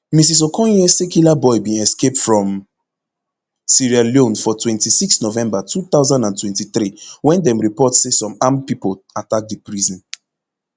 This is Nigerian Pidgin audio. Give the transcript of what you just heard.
mrs okonye say killaboi bin escape from sierra leone for twenty-six november two thousand and twenty-three wen dem report say some armed pipo attack di prison